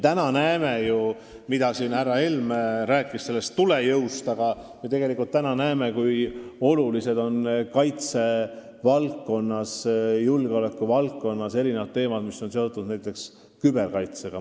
Härra Helme rääkis siin tulejõust, aga me näeme ka seda, kui olulised on kaitse- ja julgeolekuvaldkonnas teemad, mis on seotud näiteks küberkaitsega.